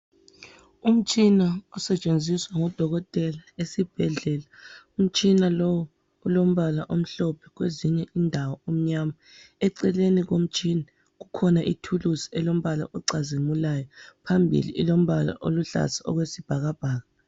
Umtshina osetshenziswa ngudokotela esibhedlela. Umtshina lowu ulombala omhlophe kwezinye indawo umnyama. Eceleni komtshina kukhona ithulusi elombala ocazimulayo. Phambili ilombala oluhlaza okwesibhakabhaka.